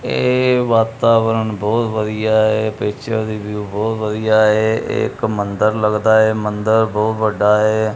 ਇਹ ਵਾਤਾਵਰਣ ਬਹੁਤ ਵਧੀਆ ਐ ਪਿੱਚਰ ਦੀ ਵਿਊ ਬਹੁਤ ਵਧੀਆ ਐ ਇਹ ਇੱਕ ਮੰਦਰ ਲੱਗਦਾ ਐ ਮੰਦਰ ਬਹੁਤ ਵੱਡਾ ਐ।